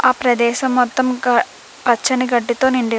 ఆ ప్రదేశం మొత్తం పచ్చని గడ్డి తో నిండి --